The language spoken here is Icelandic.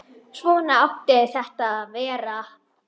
Svona átti þetta að vera.